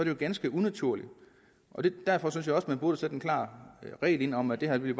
jo ganske unaturligt derfor synes jeg også man burde en klar regel om at det her vil